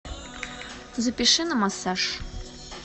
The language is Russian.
запиши на массаж